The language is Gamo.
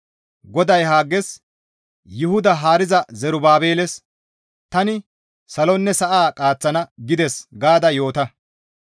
GODAY Hagges, «Yuhuda haariza Zerubaabeles, ‹Tani salonne sa7a qaaththana› gides gaada yoota.